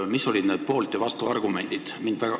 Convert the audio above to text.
Mis olid need poolt- ja vastuargumendid?